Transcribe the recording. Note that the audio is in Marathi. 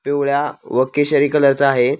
पिवळ्या व केशरी कलर चा आहे.